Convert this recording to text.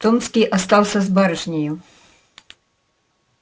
томский остался с барышнею